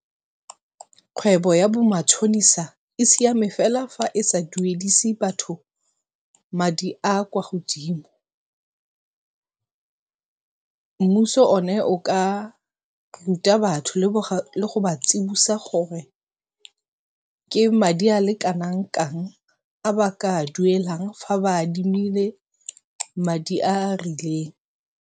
Kgwebo ya bo matšhonisa e siame fela fa e sa duedise batho madi a a kwa godimo. Mmuso one o ka ruta batho le go ba tsibosa gore ke madi a le kanangkang a ba ka a duelang fa ba adimile madi a a rileng.